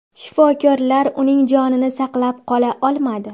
Shifokorlar uning jonini saqlab qola olmadi.